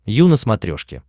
ю на смотрешке